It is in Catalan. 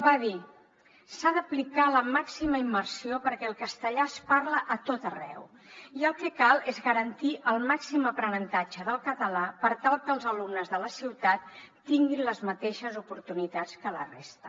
va dir s’ha d’aplicar la màxima immersió perquè el castellà es parla a tot arreu i el que cal és garantir el màxim aprenentatge del català per tal que els alumnes de la ciutat tinguin les mateixes oportunitats que la resta